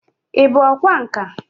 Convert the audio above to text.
Ị bụ ọkwá nkà?